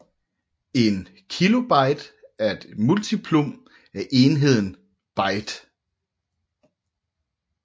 En kilobyte er et multiplum af enheden byte